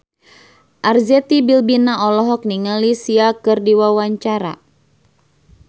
Arzetti Bilbina olohok ningali Sia keur diwawancara